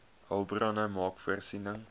hulpbronne maak voorsiening